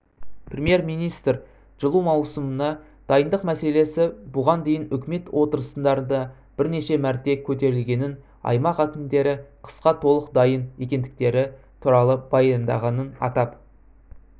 премьер-министр жылу маусымына дайындық мәселесі бұған дейін үкімет отырыстарында бірнеше мәрте көтерілгенін аймақ әкімдері қысқа толық дайын екендіктері туралы баяндағанын атап